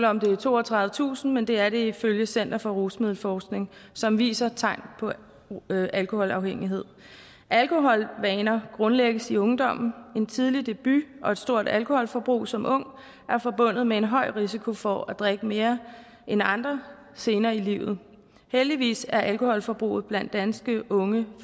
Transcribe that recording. om det er toogtredivetusind men det er det ifølge center for rusmiddelforskning som viser tegn på alkoholafhængighed alkoholvaner grundlægges i ungdommen en tidlig debut og et stort alkoholforbrug som ung er forbundet med en høj risiko for at drikke mere end andre senere i livet heldigvis er alkoholforbruget blandt danske unge